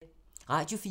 Radio 4